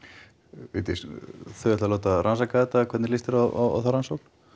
Vigdís þau ætla að láta rannsaka þetta hvernig lýst þér á þá rannsókn